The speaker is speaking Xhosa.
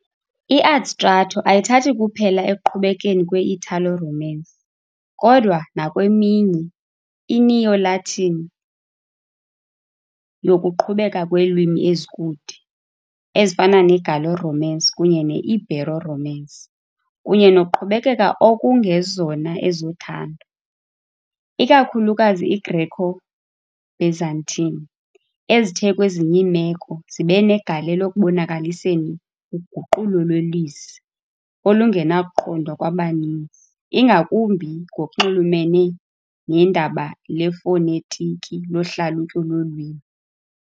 I-adstrato ayithathi kuphela ekuqhubekeni kwe-Italo-Romance, kodwa nakweminye i-Neo-Latin yokuqhubeka kweelwimi ezikude, ezifana ne-Gallo-Romance kunye ne-Ibero-Romance, kunye noqhubekeka okungezona ezothando, ikakhulukazi iGreco-Byzantine, ezithe, kwezinye iimeko, zibe negalelo ekubonakaliseni uguqulo lwelizwi olungenakuqondwa kwabaninzi, ingakumbi ngokunxulumene nendaba lefonetiki lohlalutyo lolwimi.